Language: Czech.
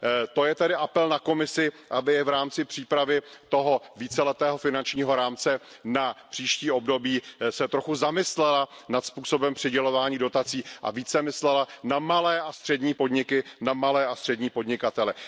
To je tedy apel na Komisi, aby se v rámci přípravy toho víceletého finančního rámce na příští období trochu zamyslela nad způsobem přidělování dotací a více myslela na malé a střední podniky, na malé a střední podnikatele.